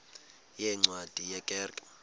yeencwadi ye kerk